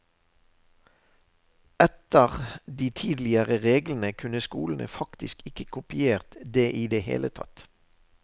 Etter de tidligere reglene kunne skolene faktisk ikke kopiert det i det hele tatt.